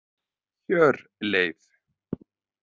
Hjörleif